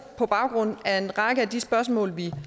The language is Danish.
på baggrund af en række af de spørgsmål vi